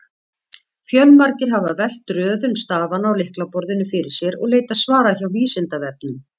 Fjölmargir hafa velt röðun stafanna á lyklaborðinu fyrir sér og leitað svara hjá Vísindavefnum.